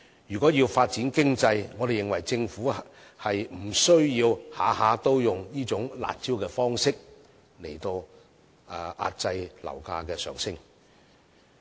如要發展經濟，我們認為政府無須每次都以"辣招"的方式來遏抑樓價上升。